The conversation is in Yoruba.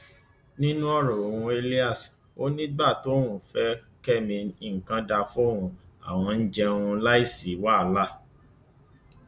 nínú ọrọ uhuo elias ò ní nígbà tóun fẹ kẹmi nǹkan dáa fóun àwọn ń jẹun láì sí wàhálà